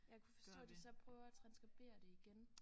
Jeg kunne forstå de så prøver at transskribere det igen